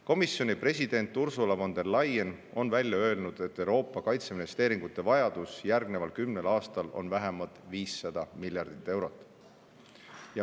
Komisjoni president Ursula von der Leyen on välja öelnud, et Euroopa kaitseinvesteeringute vajadus järgneval kümnel aastal on vähemalt 500 miljardit eurot.